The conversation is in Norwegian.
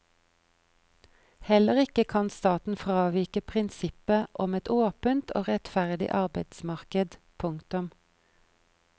Heller ikke kan staten fravike prinsippet om et åpent og rettferdig arbeidsmarked. punktum